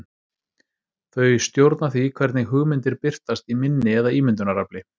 Þau stjórna því hvernig hugmyndir birtast í minni eða ímyndunarafli.